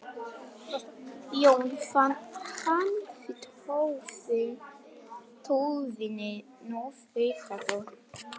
Jón fann hann við tóvinnu í fiskihöfninni.